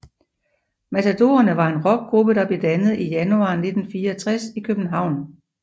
Matadorerne var en rockgruppe der blev dannet i januar 1964 i København